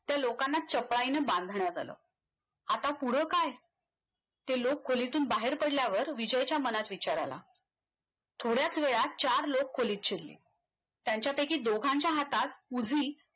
त्या लोकांना चपळाईने बांधण्यात आलं आता पुढ काय ते लोक खोलीतून बाहेर पडल्यावर विजयच्या मनात विचार आला थोड्याच वेळात चार लोक खोलीत शिरले त्यांच्यापैकी दोघांच्या हातात पूर्वी